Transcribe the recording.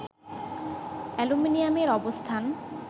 অ্যালুমিনিয়ামের অবস্থান